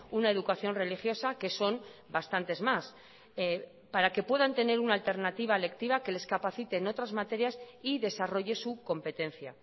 una educación religiosa que son bastantes más para que puedan tener una alternativa lectiva que les capacite en otras materias y desarrolle su competencia